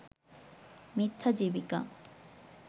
মিথ্যা জীবিকা